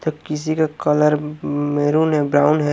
तो किसी का कलर मेरून है ब्राउन ह--